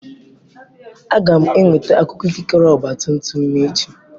Aga m enweta akwụkwọ ikikere ọgba tum tum m echi